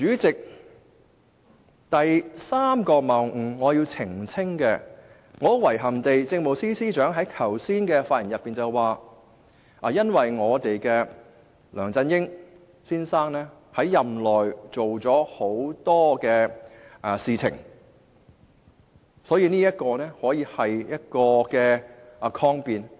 至於我要澄清的第三個謬誤，很遺憾，政務司司長剛才發言時表示，梁振英先生在任內做了很多事情，可以作為抗辯理由。